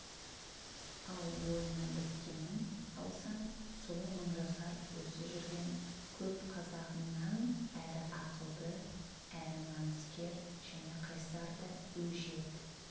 ал бойына біткенін алсаң сол мыңжасар осы жүрген көп қазағыңнан әрі ақылды әрі намыскер және қайсар да өжет